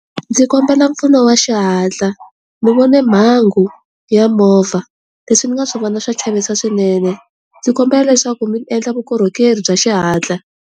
Ndzi kombela mpfuno wa xihatla ndzi vone mhangu ya movha leswi ni nga swi vona swa chavisa swinene ndzi kombela leswaku mi endla vukorhokeri bya xihatla.